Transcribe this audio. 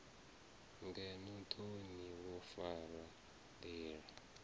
ngeno thoni wo fara ndila